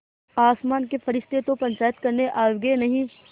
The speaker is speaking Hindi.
आसमान के फरिश्ते तो पंचायत करने आवेंगे नहीं